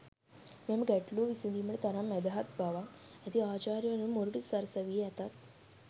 මෙම ගැටළුව විසඳීමට තරම් මැදහත් බවක් ඇති අචාර්යවරුන් මොර‍ටු සරසවියේ ඇතත්